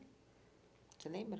Você lembra?